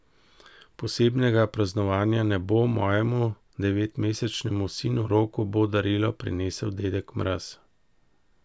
Posebnega praznovanja ne bo, mojemu devetmesečnemu sinu Roku bo darilo prinesel dedek Mraz.